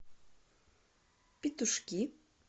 петушки